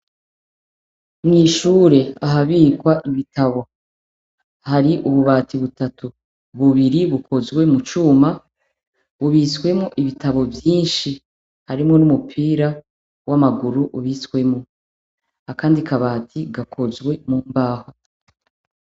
Mwishure ahabikwa ibitabo hari ububati butatu bubiri bukozwe mu cuma bubitsemwo ibitabo vyinshi harimwo n' umupira w' amaguru ubitswemwo akandi kabati gakozwe mumbaho.